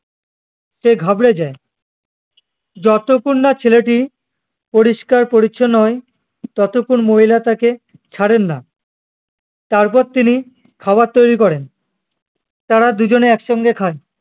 সে ঘাবড়ে যায় যতক্ষণ না ছেলেটি পরিস্কার পরিচ্ছন্ন নয় ততক্ষুন মহিলা তাকে ছাড়েন না তারপর তিনি খাবার তৈরী করেন তারা দুজনে এক সঙ্গে খায়